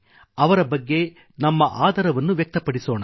ಅವರ ಬಗ್ಗೆ ನಮ್ಮಆದರವನ್ನು ವ್ಯಕ್ತಪಡಿಸೋಣ